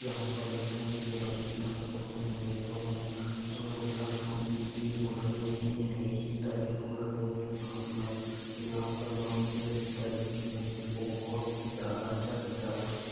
यहाँ पर लक्ष्मण जी और राम जी धनुष पकड़े हुए है दोनों लक्ष्मण जी तीर रखे हुए है सीता जी फूल रखे हुए है हाथ में और यहाँ पर राम जी और सीता जी की मूर्ति को बहुत ही ज्यादा अच्छा सजावट की--